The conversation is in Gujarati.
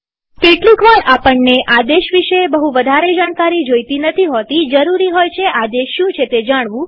કેટલીકવાર આપણને આદેશ વિશે બહું વધારે જાણકારી નથી જોઈતી હોતીજરૂરી હોય છે આદેશ શું છે જાણવું